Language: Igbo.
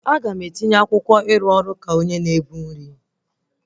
Aga m etinye akwụkwọ ịrụ ọrụ onye na-ebu nri